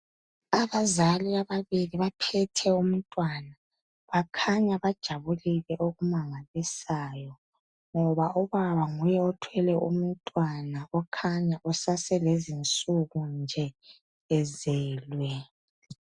Abazali ababili baphethe umntwana, bakhanya bajabulile okumangalisayo, ngoba ubaba nguye othwele umntwana okhanya esase lezinsuku nje ezelwe.